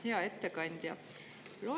Hea ettekandja!